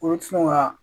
Olu ti sɔn ka